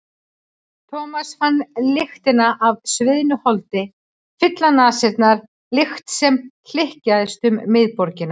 Thomas fann lyktina af sviðnu holdi fylla nasirnar, lykt sem hlykkjaðist um miðborgina.